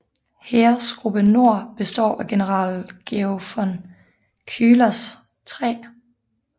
Heeresgruppe Nord bestod af general Georg von Küchlers 3